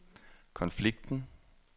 konflikten